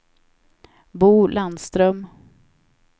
Bo Landström